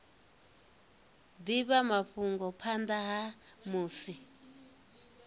divha mafhungo phanda ha musi